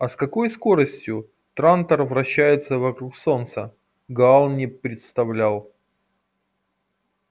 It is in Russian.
а с какой скоростью трантор вращается вокруг солнца гаал не представлял